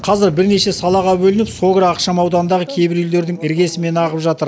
қазір бірнеше салаға бөлініп согра ықшам ауданындағы кейбір үйлердің іргесімен ағып жатыр